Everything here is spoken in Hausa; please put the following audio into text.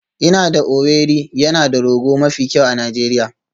Ina da Owerri yana da rogo mafi kyau a Najeriya